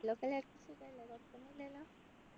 ലൊക്കെ എല്ലാർക്കും സുഖല്ലേ കുഴപ്പൊന്നും ഇല്ലല്ലോ